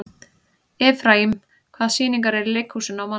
Efraím, hvaða sýningar eru í leikhúsinu á mánudaginn?